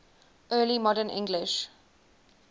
early modern english